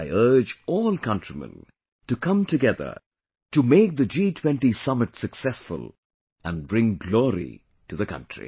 I urge all countrymen to come together to make the G20 summit successful and bring glory to the country